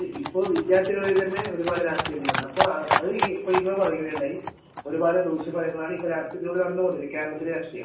ഇപ്പൊ വിദ്യാർത്ഥികളിൽ തന്നെ ഒരു പാട് രാഷ്ട്രീയം ഉണ്ട് ഇപ്പൊ നിങ്ങൾതന്നെ പറയുകയുണ്ടായി ഒരുപാട് ദൂഷ്യഫലങ്ങളിലൂടെയാണ് കേരളത്തിലെ രാഷ്ട്രീയം കടന്നുപോവുന്നത്